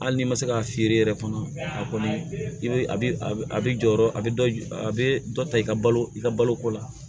Hali n'i ma se k'a feere yɛrɛ fana a kɔni i bɛ a bɛ jɔyɔrɔ bɛ dɔ a bɛ dɔ ta i ka balo i ka baloko la